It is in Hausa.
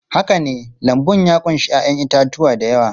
Haka ne, lambun ya ƙunshi 'ya'yan itatuwa da yawa.